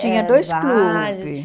Tinha dois clubes.